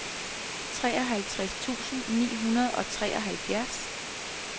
treoghalvtreds tusind ni hundrede og treoghalvfjerds